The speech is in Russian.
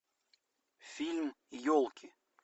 фильм елки